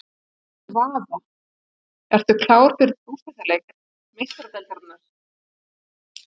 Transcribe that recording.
Láttu vaða- Ertu klár fyrir úrslitaleik Meistaradeildarinnar?